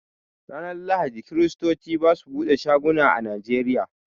Ranar Lahadi, kiristoci ba su buɗe shago a Nigeria.